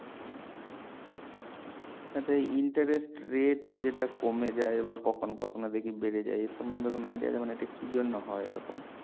আচ্ছা interest rate যেটা কমে যায় বা কখনো কখনো দেখি বেড়ে যায় এর সমন্ধে কোনো idea আছে মানে এটা কি জন্য হয় এই রকম